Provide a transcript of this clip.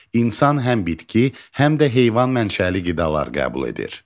İnsan həm bitki, həm də heyvan mənşəli qidalar qəbul edir.